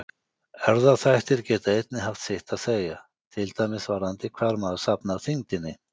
Erfðaþættir geta einnig haft sitt að segja, til dæmis varðandi hvar maður safnar þyngdinni.